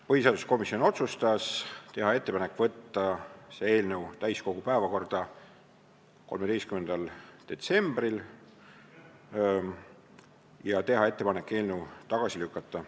Põhiseaduskomisjon otsustas teha ettepaneku võtta eelnõu täiskogu 13. detsembri istungi päevakorda ja eelnõu tagasi lükata.